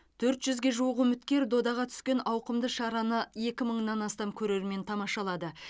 төрт жүзге жуық үміткер додаға түскен ауқымды шараны екі мыңнан астам көрермен тамашалады